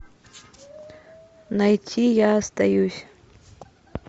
найти я остаюсь